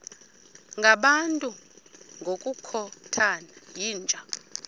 ngabantu ngokukhothana yinja